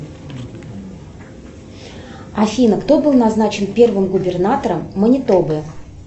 афина кто был назначен первым губернатором манитобы